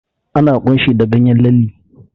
Ana ƙunshi da ganyen lalle.